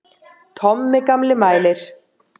Tommi gamli mælir.